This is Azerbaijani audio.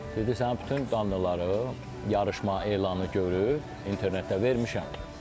Dedi sənin bütün canlıları yarışma elanı görüb internetdə vermişəm.